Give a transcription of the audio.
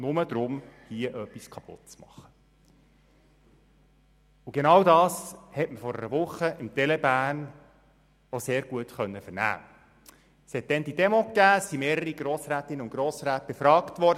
Das ist Ihre Vision, und ich bitte doch hier die bürgerliche Mitte, die nicht zur SVP gehört, sich noch einmal zu überlegen, ob sie wirklich einen SVP-Staat will und ein SVP-Sozialhilfegesetz.